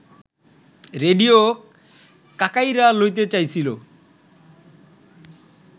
radio কাকাইড়া লইতে চাইছিল